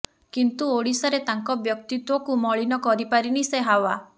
କିନ୍ତୁ ଓଡ଼ିଶାରେ ତାଙ୍କ ବ୍ୟକ୍ତିତ୍ୱକୁ ମଳିନ କରିପାରିନି ସେ ହାୱା